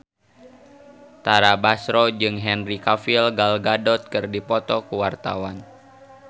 Tara Basro jeung Henry Cavill Gal Gadot keur dipoto ku wartawan